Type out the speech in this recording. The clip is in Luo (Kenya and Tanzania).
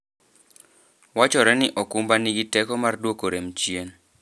Wachore ni okumba nigi teko mar duoko rem chien.